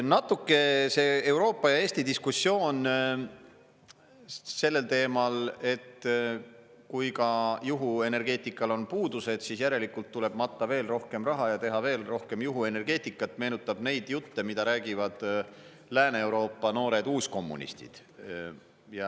Natuke see Euroopa ja Eesti diskussioon sellel teemal, et kui ka juhuenergeetikal on puudused, siis järelikult tuleb matta veel rohkem raha ja teha veel rohkem juhuenergeetikat, meenutab neid jutte, mida räägivad Lääne-Euroopa noored uuskommunistid.